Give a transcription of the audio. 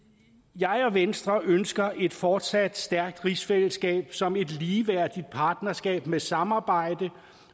jeg og venstre ønsker et fortsat stærkt rigsfællesskab som et ligeværdigt partnerskab med samarbejde